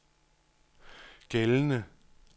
gældende